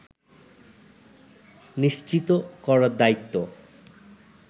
নিশ্চিত করার দায়িত্ব